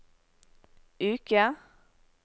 uke